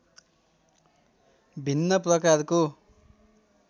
भिन्न प्रकारको